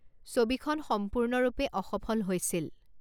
ছবিখন সম্পূৰ্ণৰূপে অসফল হৈছিল।